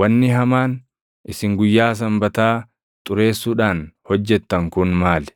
“Wanni hamaan isin guyyaa Sanbataa xureessuudhaan hojjettan kun maal?